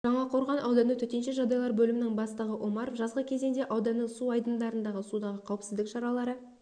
жаңақорған ауданы төтенше жағдайлар бөлімінің бастығы омаров жазғы кезеңде ауданның су айдындарындағы судағы қауіпсіздік шаралары